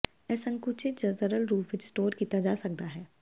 ਇਹ ਸੰਕੁਚਿਤ ਜ ਤਰਲ ਰੂਪ ਵਿੱਚ ਸਟੋਰ ਕੀਤਾ ਜਾ ਸਕਦਾ ਹੈ